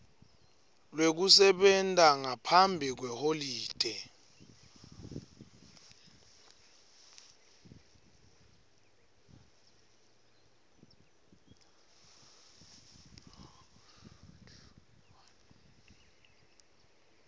lwekusebenta ngaphambi kweholide